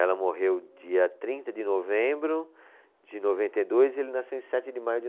Ela morreu dia trinta de novembro de noventa e dois e ele nasceu em sete de maio de no